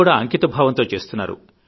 కూడా అంకిత భావంతో చేస్తున్నారు